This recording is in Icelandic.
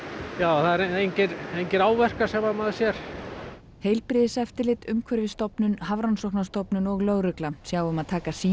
það eru engir engir áverkar sem að maður sér heilbrigðiseftirlit Umhverfisstofnun Hafrannsóknastofnun og lögregla sjá um að taka sýni